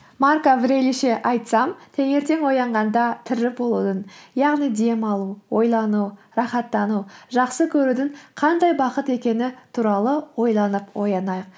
айтсам таңертең оянғанда тірі болудың яғни дем алу ойлану рахаттану жақсы көрудің қандай бақыт екені туралы ойланып оянайық